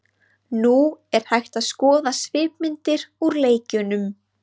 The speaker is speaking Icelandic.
Nú er hægt að skoða svipmyndir úr leikjunum.